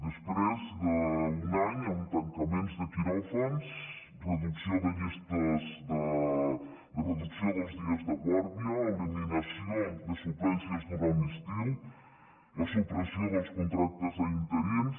després d’un any amb tancaments de quiròfans reducció de llistes reducció dels dies de guàrdia eliminació de suplències durant l’estiu la supressió dels contractes a interins